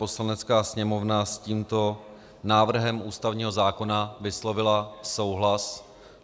Poslanecká sněmovna s tímto návrhem ústavního zákona vyslovila souhlas.